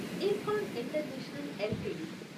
Ircon International LTD